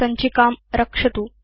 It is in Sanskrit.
सञ्चिकां रक्षतु